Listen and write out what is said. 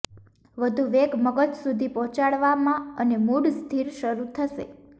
વધુ વેગ મગજ સુધી પહોંચવામાં અને મૂડ સ્થિર શરૂ થશે